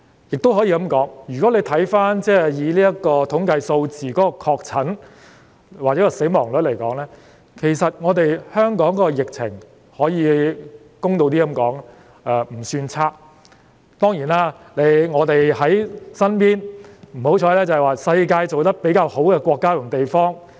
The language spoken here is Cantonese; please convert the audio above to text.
如果以確診的統計數字或死亡率來看，其實香港的疫情，公道一點來說，並不算差，只是我們比較倒霉，因為身邊的是世界上防疫抗疫工作做得比較好的國家及地方。